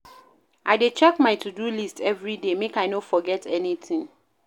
I dey check my to-do list everyday, make I no forget anytin.